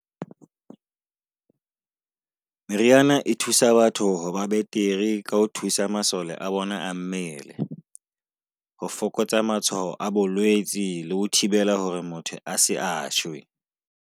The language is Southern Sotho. Meriana e thusa batho ho ba betere ka ho thusa masole a bona a mmele. Ho fokotsa matshwao a bolwetsi le ho thibela hore motho a se a shwe.